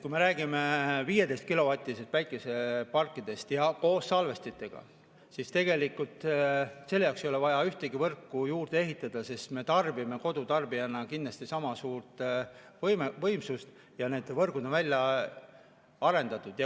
Kui me räägime 15‑kilovatistest päikeseparkidest ja koos salvestitega, siis tegelikult selle jaoks ei ole vaja ühtegi võrku juurde ehitada, sest me tarbime kodutarbijana kindlasti sama suurt võimsust ja need võrgud on välja arendatud.